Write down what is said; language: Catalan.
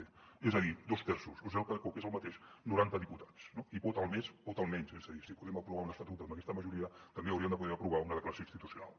b és a dir dos terços o el que és el mateix noranta diputats no si pot el més pot el menys és a dir si podem aprovar un estatut amb aquesta majoria també hauríem de poder aprovar una declaració institucional